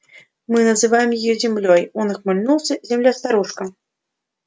мы называем её землёй он ухмыльнулся земля-старушка